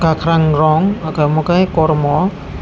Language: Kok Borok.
kwkhwrang rong ako mo khe kormo.